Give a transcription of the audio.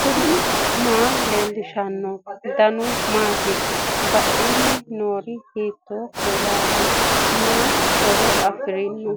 knuni maa leellishanno ? danano maati ? badheenni noori hiitto kuulaati ? mayi horo afirino ?